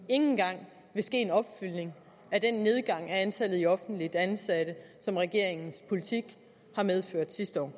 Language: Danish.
engang vil ske en opfyldning af den nedgang i antallet af offentligt ansatte som regeringens politik har medført sidste år